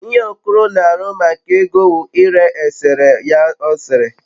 ihe okoro n'aru maka ego wu ire esereye ya osere